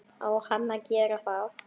Á hann að gera það?